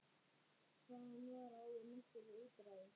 Þaðan var áður nokkurt útræði.